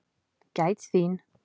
Gæt þín.